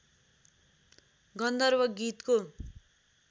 गन्धर्व गीतको